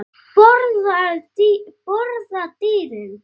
Borða dýrin?